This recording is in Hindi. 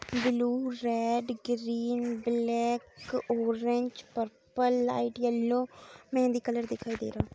Blue red green black orange purple light yellow mehndi colour दिखाई दे रहा।